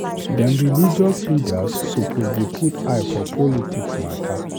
Dem religious leaders suppose dey put eye for politics mata.